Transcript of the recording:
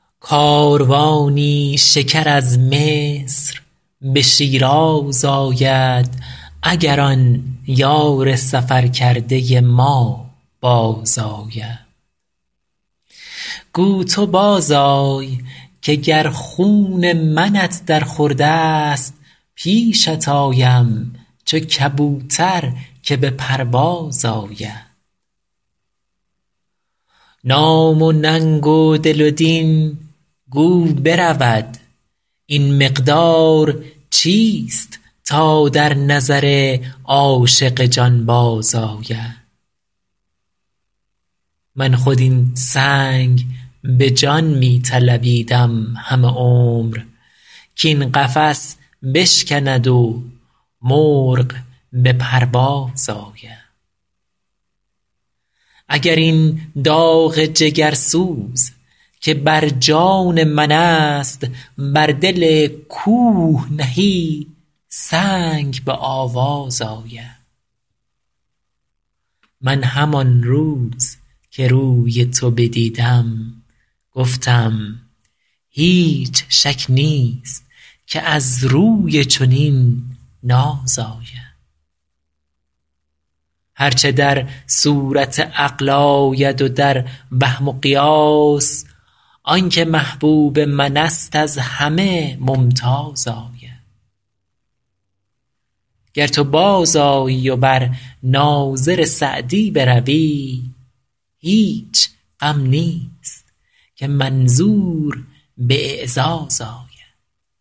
کاروانی شکر از مصر به شیراز آید اگر آن یار سفر کرده ما بازآید گو تو بازآی که گر خون منت در خورد است پیشت آیم چو کبوتر که به پرواز آید نام و ننگ و دل و دین گو برود این مقدار چیست تا در نظر عاشق جانباز آید من خود این سنگ به جان می طلبیدم همه عمر کاین قفس بشکند و مرغ به پرواز آید اگر این داغ جگرسوز که بر جان من است بر دل کوه نهی سنگ به آواز آید من همان روز که روی تو بدیدم گفتم هیچ شک نیست که از روی چنین ناز آید هر چه در صورت عقل آید و در وهم و قیاس آن که محبوب من است از همه ممتاز آید گر تو بازآیی و بر ناظر سعدی بروی هیچ غم نیست که منظور به اعزاز آید